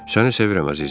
Səni sevirəm əzizim.